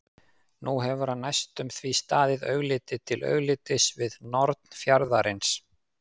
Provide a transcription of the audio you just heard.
Nú hefur hann næstum því staðið augliti til auglitis við norn fjarðarins.